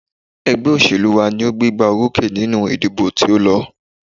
Ẹgbẹ́ òṣèlú wa ní o gbégbá orókè nínú ìdìbò tí o lọ.